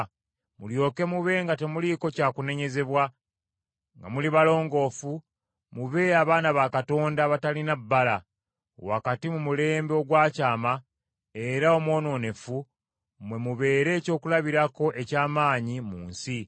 mulyoke mube nga temuliiko kyakunenyezebwa nga muli balongoofu, mube abaana ba Katonda abatalina bbala, wakati mu mulembe ogwakyama era omwonoonefu, mwe mubeere ekyokulabirako eky’amaanyi mu nsi,